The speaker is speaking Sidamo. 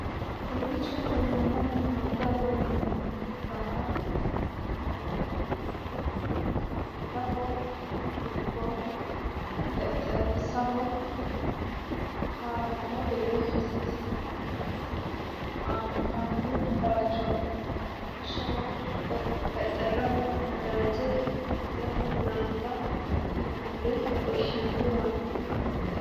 kowichi lelanohu madiyaho yinaniha ikana kunino madiyaho yinanihu camelaho iko xexerisaho harano gede hasisanore anifani bayichoti. lawishshaho xexerrisaho nadaje camelaho laniba yinanire xorishshinaniwati.